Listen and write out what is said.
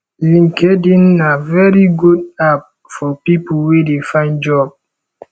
linkedin na very good app for pipo wey de find job